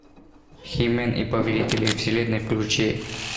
хи мэн и повелители вселенной включи